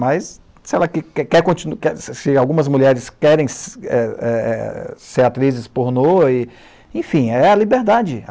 Mas se ela que quer continu quer se se algumas mulheres querem, eh eh, ser atrizes pornô, enfim, é a liberdade.